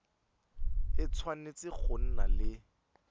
e tshwanetse go nna le